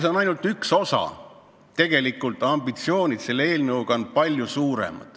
Tegelikult on eelnõu ambitsioonid palju suuremad.